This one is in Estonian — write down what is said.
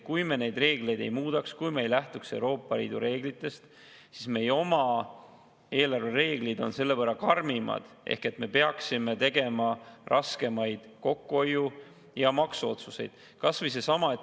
Kui me neid reegleid ei muudaks, kui me ei lähtuks Euroopa Liidu reeglitest, siis meie oma eelarvereeglid on selle võrra karmimad ehk me peaksime tegema raskemaid kokkuhoiu- ja maksuotsuseid.